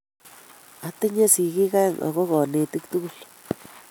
Atinye sigiik aeng ago konetik tugul